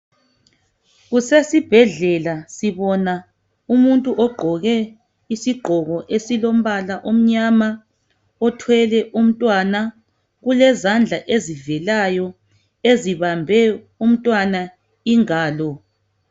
Kusesibhedlela sibona umuntu ogqoke isigqoko esilombala omnyama othwele umntwana kulezandla ezivelayo esibambe umntwana ingalo.